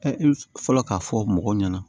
Ɛ fɔlɔ k'a fɔ mɔgɔw ɲɛna